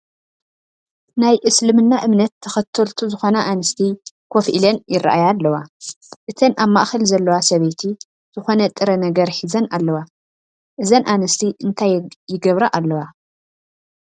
ናይ እስልምና እምነት ተኸተልቱ ዝኾና ኣንስቲ ከፍ ኢለን ይራኣያ ኣለዋ፡፡ እተን ኣብ ማእኸል ዘለዋ ሰበይቲ ዝኾነ ጥረ ነገር ሒዘን ኣለዋ፡፡ እዘን ኣንስቲ እንታይ ይገብራ ኣለዋ?